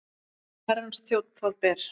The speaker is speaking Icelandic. Herrans þjónn það ber.